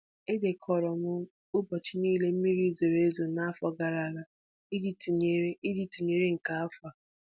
Edekọrọ m ụbọchị niile mmiri ozuzo n'afọ gara aga iji ntụnyere iji ntụnyere nke afọ a